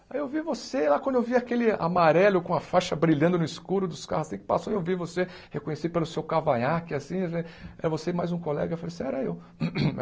Ai eu vi você lá, quando eu vi aquele amarelo com a faixa brilhando no escuro dos carros, assim, que passou, eu vi você, reconheci pelo seu cavanhaque, assim assim, era você e mais um colega, eu falei assim, era eu.